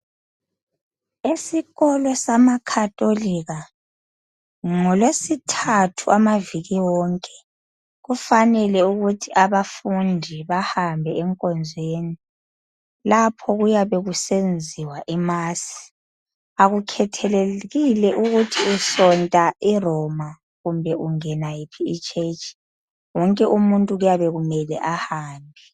Esikolo samaKhatolika, ngolwesthathu amaviki wonke kufanele ukuthi abafundi bahambe enkonzweni, lapho okuyabe kusenziwa khona imasi. Akukhathalekile ukuthi usonta iRoma kumbe ungena yiphi itshetshi! Wonke umuntu kuyabe kumele ahambe.